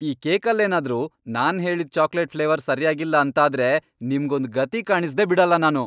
ಈ ಕೇಕಲ್ಲೇನಾದ್ರೂ ನಾನ್ ಹೇಳಿದ್ ಚಾಕ್ಲೇಟ್ ಫ್ಲೇವರ್ ಸರ್ಯಾಗಿಲ್ಲ ಅಂತಾದ್ರೆ ನಿಮ್ಗೊಂದ್ ಗತಿ ಕಾಣಿಸ್ದೇ ಬಿಡಲ್ಲ ನಾನು!